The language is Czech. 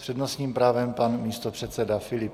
S přednostním právem pan místopředseda Filip.